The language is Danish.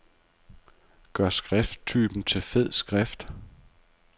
Gør skrifttypen til fed skrift.